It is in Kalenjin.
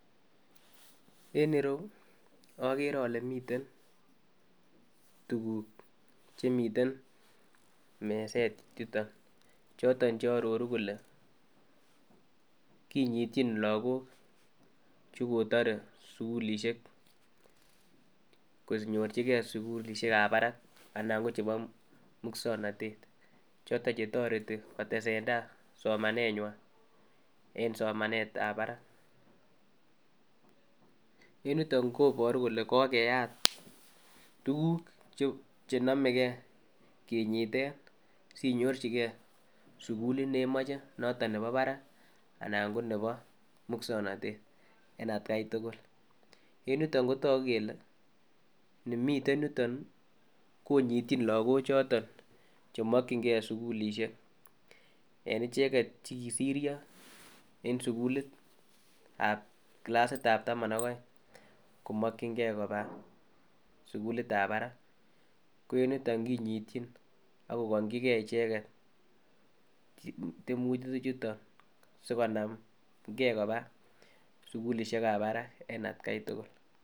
En ireyuu okere ole miten tukuk chemiten meset yuton choton che ororu kole kinyityin lokok chekotore sukulishek konyorchigee sukulishek ab barak anan ko chebo muswoknotet choton chetoreti kotesetai somanenywan en somanet ab barak. En yutok koboru kole komeyat tukuk chenome gee kinyiten sinyorchigee sukulit nemoche niton nebo barak anan ko nebo muswoknotet en atgai tukul. En yutok kotoku kele ni miten yutok kii konyityin lokok choton chemokin gee sukulishek en icheket chekisiryo en sukulitab kilasitab taman ak oeng komokingee koba sukuli ab barak ko en yutok konyityin akokingi gee icheket tyemutik chuton sikonamgee koba sukulishek ab baraka en atgai tukul